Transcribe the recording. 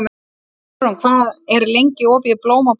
Álfrún, hvað er lengi opið í Blómabúð Akureyrar?